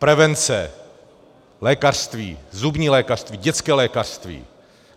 Prevence, lékařství, zubní lékařství, dětské lékařství.